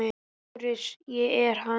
LÁRUS: Ég er hann.